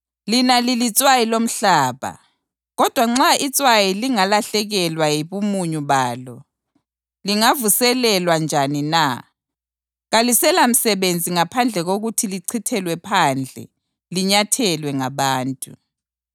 “Lina lilitswayi lomhlaba. Kodwa nxa itswayi lingalahlekelwa yibumunyu balo, lingavuselelwa njani na? Kaliselamsebenzi ngaphandle kokuthi lichithelwe phandle linyathelwe ngabantu.